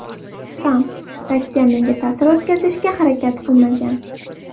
Tramp: Rossiya menga ta’sir o‘tkazishga harakat qilmagan.